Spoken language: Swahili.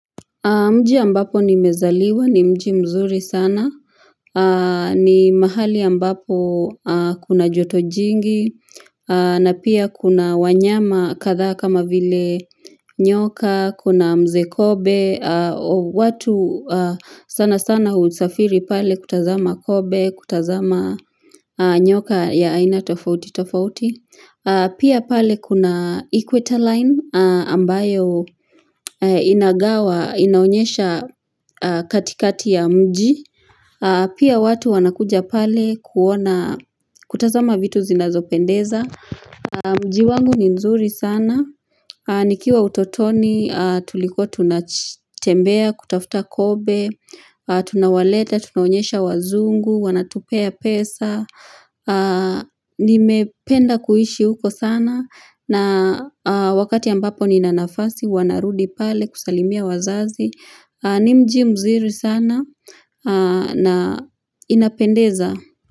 Mji ambapo nimezaliwa, ni mji mzuri sana, ni mahali ambapo kuna joto jingi, na pia kuna wanyama kadha kama vile nyoka, kuna mze kobe, watu sana sana husafiri pale kutazama kobe, kutazama nyoka ya aina tofauti tofauti, pia pale kuna equator line ambayo inagawa, inaonyesha katikati ya mji pia watu wanakuja pale kuona kutazama vitu zinazopendeza mji wangu ni nzuri sana nikiwa utotoni tuliko tunatembea kutafuta kobe tunawaleta, tunonyesha wazungu wanatupea pesa nimependa kuishi huko sana na wakati ambapo ninanafasi, huwa narudi pale kusalimia wazazi ni mji mzuri sana na inapendeza.